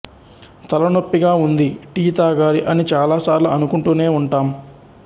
తలనొప్పిగా ఉంది టీ తాగాలి అని చాలా సార్లు అనుకుంటూనే ఉంటాం